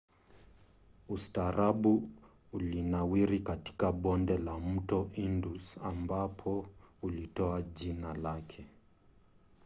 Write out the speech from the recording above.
ustaarabu ulinawiri katika bonde la mto indus ambapo ulitoa jina lake